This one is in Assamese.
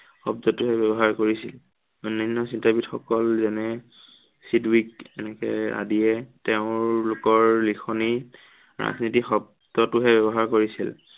শব্দটোহে ব্য়ৱহাৰ কৰিছিল। অন্য়ান্য় চিন্তাবিদসকল যেনে, আদিয়ে তেওঁলোকৰ লেখনিত ৰাজনীতি শব্দটোহে ব্য়ৱহাৰ কৰিছিল।